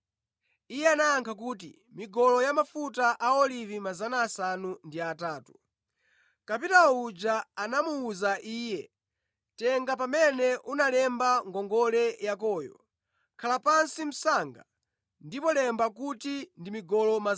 “Iye anayankha kuti, ‘Migolo yamafuta a olivi 800.’ “Kapitawo uja anamuwuza iye, ‘Tenga pamene unalemba ngongole yakoyo, khala pansi msanga ndipo lemba kuti ndi migolo 400.’